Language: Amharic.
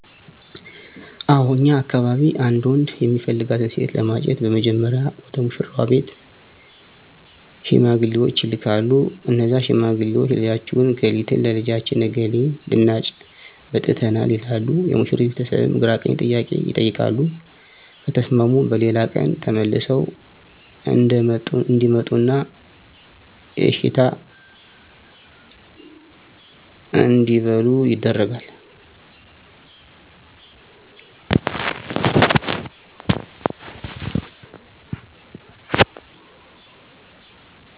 አው እኛ አካባቢ አንድ ወንድ እሚፈልጋትን ሴት ለማጨት በመጀመሪያ ወደ ሙሺራዋ ቤት ሺማግሌወች ይላካሉ እነዛ ሺማግሌወች ልጃችሁን እከሊትን ለልጃችን እከሌ ልናጭ መጥተናል ይላሉ የሙሺሪት ቤተስብም ግራቀኝ ጥያቄ ይቀይቃሉ ከተስማሙ በሌላ ቀን ተመልሰው እዴመጡና የእሺታ እዴበሉ ይደረጋል